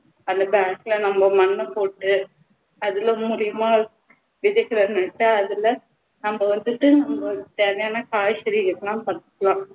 அந்த bag ல நம்ம மண்ணை போட்டு அதுல மூலமா இருக்கிற அதுல நம்ம வந்துட்டு அங்க சரியான காய்கறி எல்லாம்